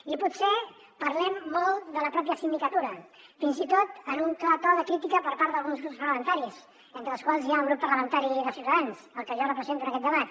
i potser parlem molt de la pròpia sindicatura fins i tot en un clar to de crítica per part d’alguns grups parlamentaris entre els quals hi ha el grup parlamentari de ciutadans el que jo represento en aquest debat